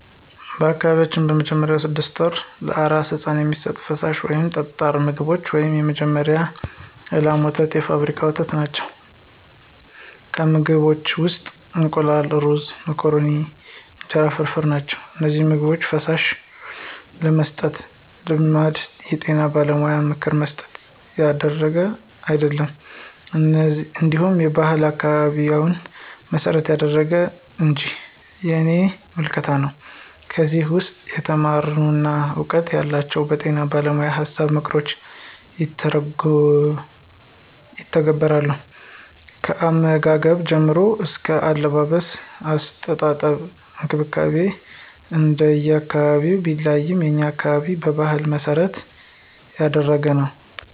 በአካባቢያችን በመጀመሪያዎቹ ስድስት ወራት ለአራስ ሕፃን የሚሰጡት ፈሳሽ ወይም ጠጣር ምግቦች ውስጥ የመጀመሪያው የላም ወተትና የፋብሪካ ወተት ናቸው፣ ከምግቦችም ውስጥ እንቁላል፣ ሩዞች፣ መኮረኒ፣ እንጀራ ፍርፍር ናቸው። እነዚህን ምግቦች/ፈሳሾች የመስጠት ልማድ የጤና ባለሙያዎችን ምክር መሠረት ያደረገ አይደለም እንዲሁ ባህሉን፣ አካባቢውን መሰረት ያደረገ እንጅ የኔ ምልከታ ነው። ከዚህ ውስም የተማሩና እውቀቱ ያላቸው በጤና ባለሞያዎችን ሀሳቦችንና ምክሮችን ይተገብራሉ። ከአመጋገብ ጀምሮ አስከ አለባበስ፣ አስተጣጠብ እንክብካቤ እንደየ አካባቢው ቢለያይም የኛ አካባቢ በባህሉ መሰረት ያደረገ ነው።